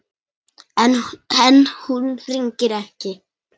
En hún hringir ekki.